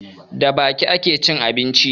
Da baki ake cin abinci